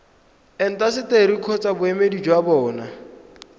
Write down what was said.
intaseteri kgotsa boemedi jwa bona